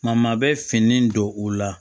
Ma bɛ fini don u la